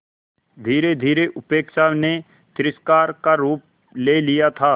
धीरेधीरे उपेक्षा ने तिरस्कार का रूप ले लिया था